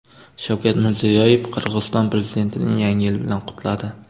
Shavkat Mirziyoyev Qirg‘iziston prezidentini Yangi yil bilan qutladi.